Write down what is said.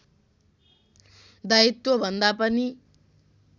दायित्व भन्दा पनि